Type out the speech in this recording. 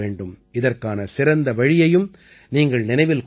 இதற்கான சிறந்த வழியையும் நீங்கள் நினைவில் கொள்ள வேண்டும்